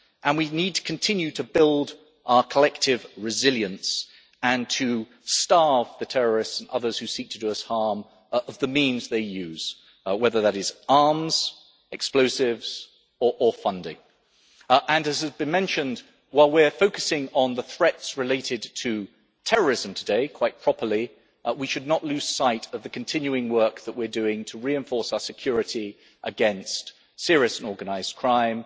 We also need to continue to build our collective resilience and starve the terrorists, and others who seek to do us harm, of the means they use, whether that is arms, explosives or funding. As has been mentioned, while we are focusing on the threats related to terrorism today, quite properly we should not lose sight of the continuing work that we are doing to reinforce our security against serious and organised crime